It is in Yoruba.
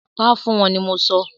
Pa fún wọ́n ni mọ sọ!